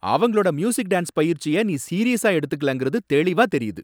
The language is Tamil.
அவங்களோட மியூசிக், டான்ஸ் பயிற்சிய நீ சீரியஸா எடுத்துக்கலங்கிறது தெளிவா தெரியுது.